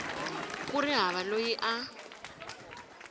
ku ri hava loyi a